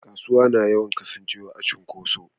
Kasuwa na yawan Kasan cewa a cunkoshe.